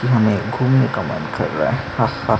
हमें घूमने का मन कर रहा है हा हा --